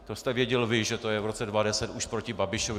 To jste věděl vy, že to je v roce 2010 už proti Babišovi.